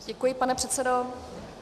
Děkuji, pane předsedo.